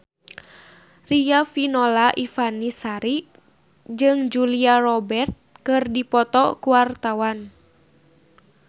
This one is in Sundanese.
Riafinola Ifani Sari jeung Julia Robert keur dipoto ku wartawan